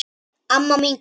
Amma mín Guðrún.